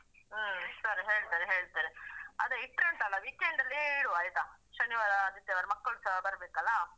ಹಾ ಸರಿ ಹೇಳ್ತೇನೆ ಹೇಳ್ತೇನೆ ಅದೇ ಇಟ್ರೆ ಉಂಟಲ್ಲ weekend ಲ್ಲಿಯೇ ಇಡುವ ಆಯ್ತಾ ಶನಿವಾರ ಆದಿತ್ಯವಾರ ಮಕ್ಕಳುಸ ಬರ್ಬೇಕಲ್ವಾ.